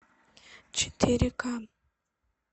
четыре ка